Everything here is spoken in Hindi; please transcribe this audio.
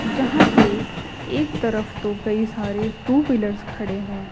जहां पे एक तरफ तो कई सारे टू व्हीलर खड़े हैं।